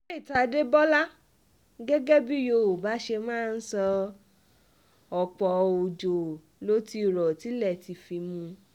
faith adébólà gẹ́gẹ́ bíi yòówá ṣe máa ń sọ ọ̀pọ̀ ọjọ́ ló ti rọ tilẹ̀ ti fi mú